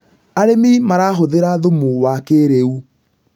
arĩmi marahũthira thumu wa kĩiriu